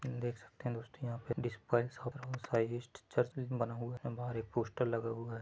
देख सकते है दोस्तो यहां पे एक चर्च बना हुआ है और बाहर एक पोस्टर लगा हुआ है।